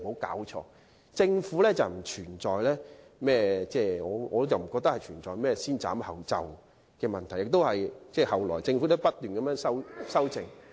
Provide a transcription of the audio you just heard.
因此，政府根本不存在"先斬後奏"的問題，而到了後期更不斷作出修正。